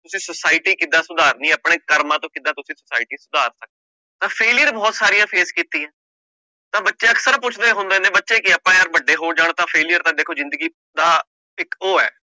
ਤੁਸੀਂ society ਕਿੱਦਾਂ ਸੁਧਾਰਨੀ ਹੈ, ਆਪਣੇ ਕਰਮਾਂ ਤੋਂ ਕਿੱਦਾਂ ਤੁਸੀਂ society ਸੁਧਾਰ ਸਕ ਤਾਂ failure ਬਹੁਤ ਸਾਰੀਆਂ face ਕੀਤੀ ਹੈ, ਤਾਂ ਬੱਚੇ ਅਕਸਰ ਪੁੱਛਦੇ ਹੁੰਦੇ ਨੇ ਬੱਚੇ ਕੀ ਆਪਾਂ ਯਾਰ ਵੱਡੇ ਹੋ ਜਾਣ ਤਾਂ failure ਤਾਂ ਦੇਖੋ ਜ਼ਿੰਦਗੀ ਦਾ ਇੱਕ ਉਹ ਹੈ।